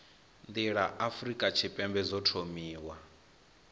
nḓila afurika tshipembe dzo thomiwa